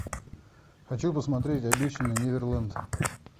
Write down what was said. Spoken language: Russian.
хочу посмотреть обещанный неверленд